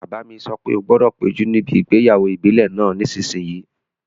Bàbá mi sọ pé "O gbọdọ̀ péjú níbi ìgbéyàwó ìbílẹ̀ náà nísìsiyìí!"